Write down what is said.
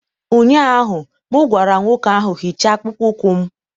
ụnyaahụ m gwara nwoke ahụ, hichaa akpụkpọ ụkwụ m!